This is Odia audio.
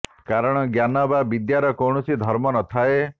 କାରଣ ଜ୍ଞାନ ବା ବିଦ୍ୟାର କୌଣସି ଧର୍ମ ନ ଥାଏ